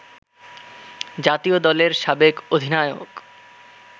জাতীয় দলের সাবেক অধিনায়ক